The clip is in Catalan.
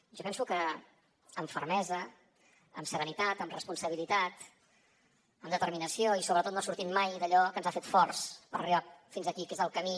jo penso que amb fermesa amb serenitat amb responsabilitat amb determinació i sobretot no sortint mai d’allò que ens ha fet forts per arribar fins aquí que és el camí